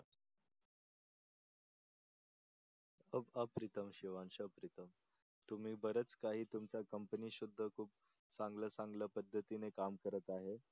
अप्रीतम शिवांश अप्रीतम तुम्ही बरेच काही तुमची कंपनी सुद्धा खूप चांगल चांगल पद्धतीने काम करत आहे